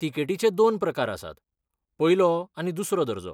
तिकेटीचे दोन प्रकार आसात, पयलो आनी दुसरो दर्जो.